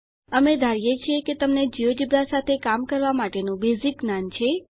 અમે ધારીએ છીએ કે તમને જિયોજેબ્રા સાથે કામ કરવા માટેનું બેઝીક જ્ઞાન છે